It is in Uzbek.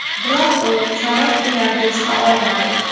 Biroq u chorak finalga chiqa olmadi.